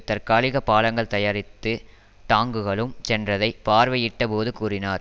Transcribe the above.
தற்காலிக பாலங்கள் தயாரித்து டாங்குகளும் சென்றதை பார்வையிட்ட போது கூறினார்